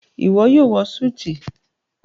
iwọ yoo wọ Súìtì